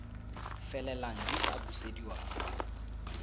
felelang di tla busediwa kwa